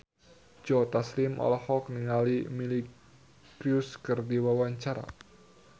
Joe Taslim olohok ningali Miley Cyrus keur diwawancara